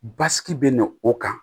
Basigi bɛ na o kan